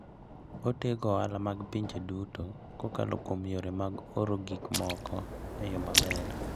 Otego ohala mag pinje duto kokalo kuom yore mag oro gik moko e yo maber.